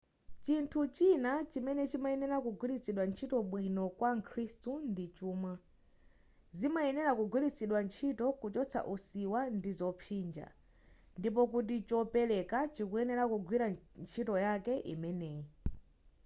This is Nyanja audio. chinthu china chimene chimayenera kugwilitsidwa ntchito bwino kwa mkhrisitu ndi chuma zimayenera kugwilitsidwa ntchito kuchotsa usiwa ndi zopsinja ndipo kuti chopereka chikuyenera kugwira ntchito yake imeneyi